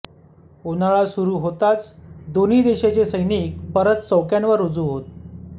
उन्हाळा सुरू होताच दोन्ही देशाचे सैनिक परत चौक्यांवर रुजू होत